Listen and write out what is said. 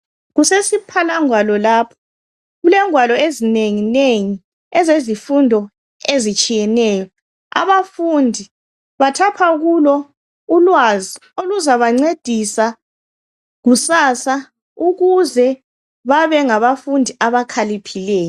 Kusesiphalangwalo lapho kulengwalo ezinenginengi ezezifundo ezitshiyeneyo abafundi bathatha kulo ulwazi oluzabancedisa kusasa ukuze babe ngabafundi abakhaliphileyo